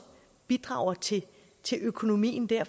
bidrager til til økonomien der